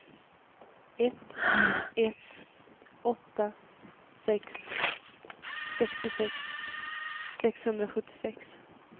ett ett åtta sex sextiosex sexhundrasjuttiosex